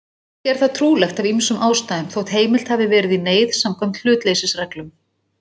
Ekki er það trúlegt af ýmsum ástæðum, þótt heimilt hafi verið í neyð samkvæmt hlutleysisreglum.